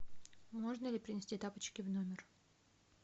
можно ли принести тапочки в номер